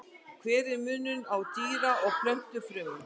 Hver er munurinn á dýra- og plöntufrumum?